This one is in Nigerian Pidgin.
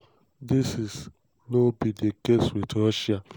dis is no no be di case wit russia.